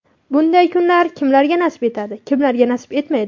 Bunday kunlar kimlarga nasib etadi, kimlarga nasib etmaydi.